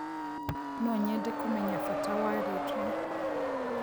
no nyende kũmenya bata wa rĩtwa